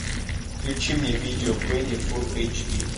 включи мне видео бенни фул эйч ди